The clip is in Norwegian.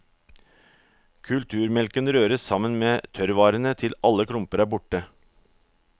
Kulturmelken røres sammen med tørrvarene til alle klumper er borte.